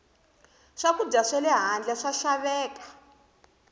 swakudya swale handle swa xaveka